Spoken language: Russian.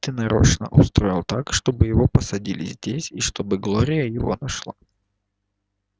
ты нарочно устроил так чтобы его посадили здесь и чтобы глория его нашла